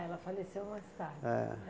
Ela faleceu mais tarde. É.